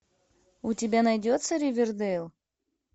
у тебя найдется ривердейл